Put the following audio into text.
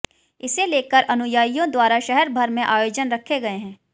इसे लेकर अनुयायियों द्वारा शहरभर में आयोजन रखे गए हैं